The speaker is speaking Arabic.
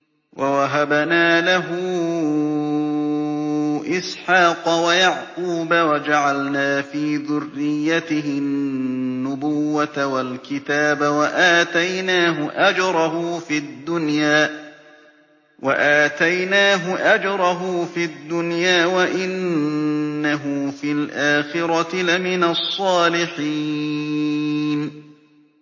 وَوَهَبْنَا لَهُ إِسْحَاقَ وَيَعْقُوبَ وَجَعَلْنَا فِي ذُرِّيَّتِهِ النُّبُوَّةَ وَالْكِتَابَ وَآتَيْنَاهُ أَجْرَهُ فِي الدُّنْيَا ۖ وَإِنَّهُ فِي الْآخِرَةِ لَمِنَ الصَّالِحِينَ